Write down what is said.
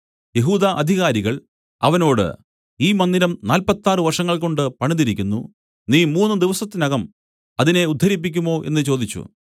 യെഹൂദ അധികാരികൾ അവനോട് ഈ മന്ദിരം നാല്പത്താറ് വർഷങ്ങൾകൊണ്ട് പണിതിരിക്കുന്നു നീ മൂന്നു ദിവസത്തിനകം അതിനെ ഉദ്ധരിപ്പിക്കുമോ എന്നു ചോദിച്ചു